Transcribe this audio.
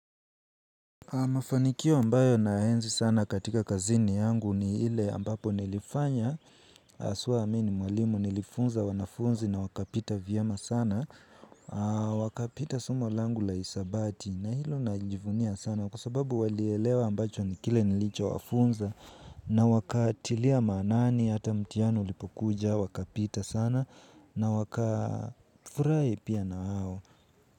Mafanikio ambayo naenzi sana katika kazini yangu ni ile ambapo nilifanya haswa mi ni mwalimu nilifunza wanafunzi na wakapita vyema sana. Wakapita somo langu la hisabati na hilo najivunia sana kwa sababu walielewa ambacho ni kile nilichowafunza na wakatilia maanani hata mtihani ulipokuja wakapita sana na wakafurahi pia na wao.